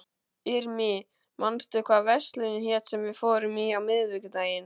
Irmý, manstu hvað verslunin hét sem við fórum í á miðvikudaginn?